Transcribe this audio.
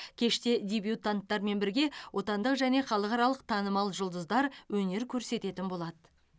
кеште дебютанаттармен бірге отандық және халықаралық танымал жұлдыздар өнер көрсететін болады